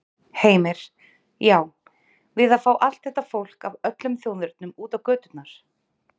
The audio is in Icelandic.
Heimir: Já, við að fá allt þetta fólk af öllum þjóðernum út á göturnar?